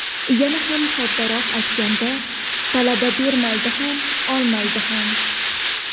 Yana ham soddaroq aytganda, talaba bermaydi ham olmaydi ham.